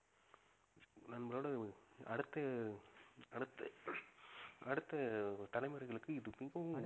நம்மளோட அடுத்த அடுத்த அடுத்த தலைமுறைகளுக்கு இது மிகவும்